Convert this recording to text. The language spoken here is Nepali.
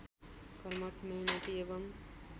कर्मठ मेहनती एवम्